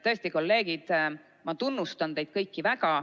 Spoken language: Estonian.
Tõesti, kolleegid, ma tunnustan teid kõiki väga.